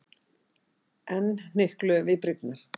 Enn hnykluðum við brýnnar.